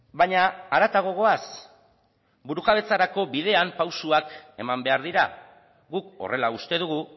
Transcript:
baina haratago goaz burujabetzarako bidean pausuak eman behar dira guk horrela uste dugu